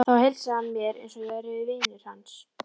Þá heilsaði hann mér eins og ég væri vinur hans.